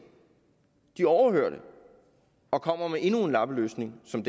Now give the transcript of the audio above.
de overhører det og kommer med endnu en lappeløsning som